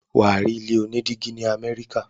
wà á rí ilé onídígí ní Amẹ́ríkà.